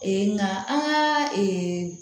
nka an ka